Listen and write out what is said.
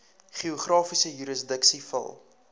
geografiese jurisdiksie val